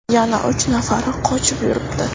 Yana uch nafari qochib yuribdi.